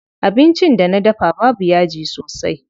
Abincin da na dafa babu yaji sosai.